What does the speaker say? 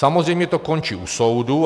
Samozřejmě to končí u soudu.